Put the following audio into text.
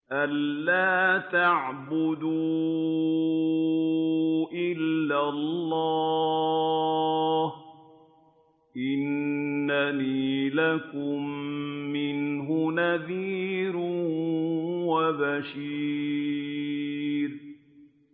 أَلَّا تَعْبُدُوا إِلَّا اللَّهَ ۚ إِنَّنِي لَكُم مِّنْهُ نَذِيرٌ وَبَشِيرٌ